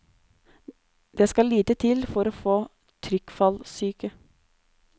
Det skal lite til for å få trykkfallsyke.